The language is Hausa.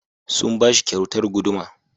Sun ba shi kyautar guduma.